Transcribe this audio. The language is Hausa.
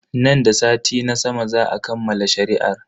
Nan da sati na sama za a kammala shari'ar.